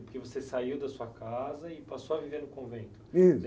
Porque você saiu da sua casa e passou a viver no convento.sso.